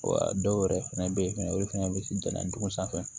Wa dɔw yɛrɛ fɛnɛ bɛ ye fɛnɛ olu fɛnɛ bɛ se jalando sanfɛ